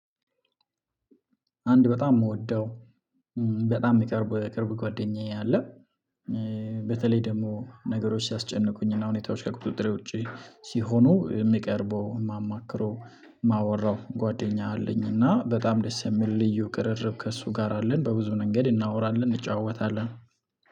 አንድ በጣም የምወደው በጣም የቅርብ ቅርብ ጓደኛዬ አለ። በተለይ ደግሞ ነገሮች ሲያስጨንቁኝና ሁኔታዎች ከቁጥጥሬ ውጪ ሲሆኑ የሚቀርበው የማማክረው ማወራው ጓደኛ አለኝ። እና በጣም ደስ የሚል ልዩ ቅርርብ ከእሱ ጋር አለን በብዙ መንገድ እናወራለን እንጨዋወታለን